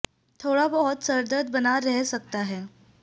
थोड़ा बहुत सर दर्द बना रह सकता है